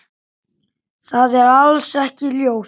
Það er alls ekki ljóst.